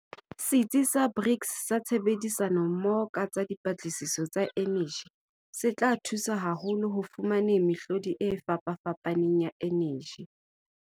Setsi sa BRICS sa Tshebedisano-mmoho ka Dipatlisiso tsa Eneji, se tla thusa haholo ho fumaneng mehlodi e fapafapaneng ya eneji.